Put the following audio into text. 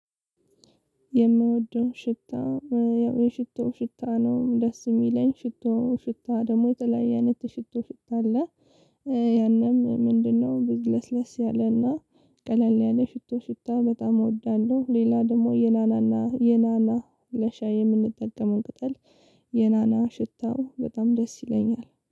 የምወደውን ሽታ ያው የሽቶ ሽታ ነው ደስ የሚለኝ ሽቶ ሽታ ደግሞ የተለያየ አይነት የ ሽቶ ሽታ አለ። ያንም ምንድነው? ብዙ ለስለስ ያለና ቀለል ያለ ሽቶ ሽታ በጣም እወዳለሁ። ሌላ ደግሞ የናናና የናና ለሻይ የምንጠቀመውን ቅጠል የናና ሽታው በጣም ደስ ይለኛል